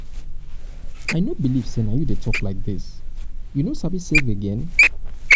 i no believe say na you wey dey talk um like dis. you no sabi save sabi save again?